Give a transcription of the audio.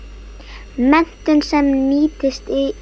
Menntun sem nýtist í starfi